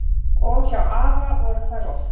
Og hjá afa voru þær oft.